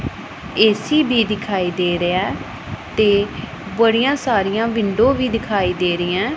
AC ਵੀ ਦਿਖਾਈ ਦੇ ਰਿਹਾ ਤੇ ਬੜੀਆਂ ਸਾਰੀਆਂ ਵਿੰਡੋ ਵੀ ਦਿਖਾਈ ਦੇ ਰਹੀਆਂ।